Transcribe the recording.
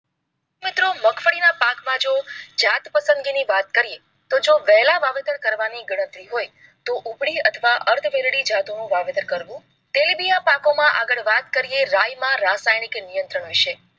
મિત્રો મગફળી ના પાક માં જો જાત પસંદગી ની વાત કરીએ તો જો વહેલા વાવેતર કરવાની ગણતરી હોય તો ઉભળી અથવા અર્ધ વેરડી જાતો નું વાવેતર કરવું. તેલીબિયાં પાકો માં આગળ વાત કરીએ રાય માં રાસાયણિક નિયંત્રણ વિષે